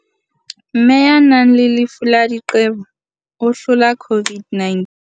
Mme ya nang le lefu la diqebo o hlola COVID-9